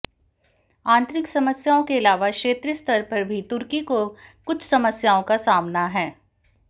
आंतरिक समस्याओं के अलावा क्षेत्रीय स्तर पर भी तुर्की को कुछ समस्याओं का सामना है